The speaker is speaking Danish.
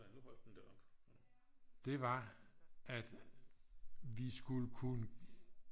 det var at vi skulle kunne